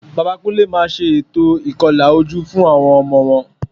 Bàbá Kúnlé máa ṣe ètò ìkọlà ojú fún àwọn ọmọ wọn